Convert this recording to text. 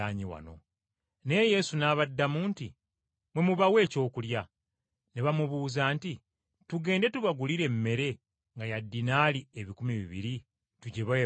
Naye Yesu n’abaddamu nti, “Mmwe mubawe ekyokulya.” Ne bamubuuza nti, “Tugende tubagulire emmere nga ya dinaali ebikumi bibiri, tugibawe balye?”